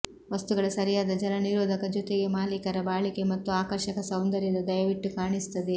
ವಸ್ತುಗಳ ಸರಿಯಾದ ಜಲನಿರೋಧಕ ಜೊತೆಗೆ ಮಾಲೀಕರ ಬಾಳಿಕೆ ಮತ್ತು ಆಕರ್ಷಕ ಸೌಂದರ್ಯದ ದಯವಿಟ್ಟು ಕಾಣಿಸುತ್ತದೆ